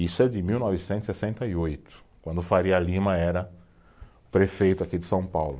Isso é de mil novecentos e sessenta e oito, quando o Faria Lima era prefeito aqui de São Paulo.